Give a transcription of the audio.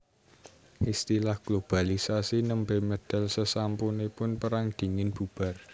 Istilah globalisasi némbè médal sésampunipun Pérang Dingin bubar